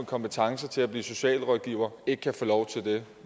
kompetencer til at blive socialrådgiver ikke kan få lov til det